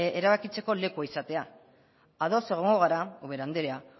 erabakitzeko lekua izatea ados egongo gara ubera andrea